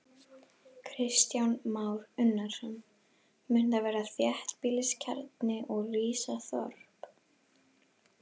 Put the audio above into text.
Kristján Már Unnarsson: Mun þar verða þéttbýliskjarni og rísa þorp?